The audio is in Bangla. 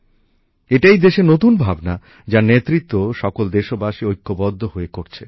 এটিই দেশের নতুন ভাবনা যার নেতৃত্ব সকল দেশবাসী ঐক্যবদ্ধ হয়ে করছে